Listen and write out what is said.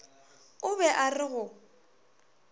o be a re go